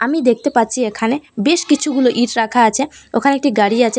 আমি দেখতে পাচ্ছি এখানে বেশকিছু গুলো ইট রাখা আছে ওখানে একটি গাড়ি আছে।